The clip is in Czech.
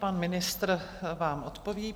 Pan ministr vám odpoví.